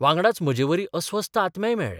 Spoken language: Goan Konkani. वांगडाच म्हजेवरी अस्वस्थ आत्मेय मेळ्ळे.